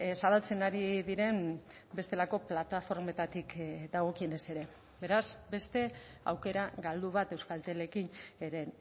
zabaltzen ari diren bestelako plataformetatik dagokienez ere beraz beste aukera galdu bat euskaltelekin ere